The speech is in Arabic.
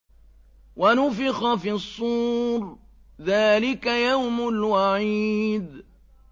وَنُفِخَ فِي الصُّورِ ۚ ذَٰلِكَ يَوْمُ الْوَعِيدِ